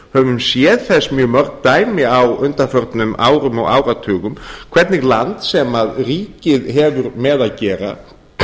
höfum séð þess mjög mörg dæmi á undanförnum árum og áratugum hvernig land sem ríkið hefur með að gera